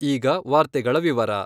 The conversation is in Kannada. ಈಗ ವಾರ್ತೆಗಳ ವಿವರ